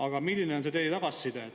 Aga milline on tagasiside?